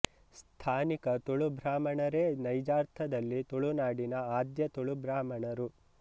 ಸ್ಥಾನಿಕ ತುಳು ಬ್ರಾಹ್ಮಣರೇ ನೈಜಾರ್ಥದಲ್ಲಿ ತುಳುನಾಡಿನ ಆಧ್ಯ ತುಳು ಬ್ರಾಹ್ಮಣರು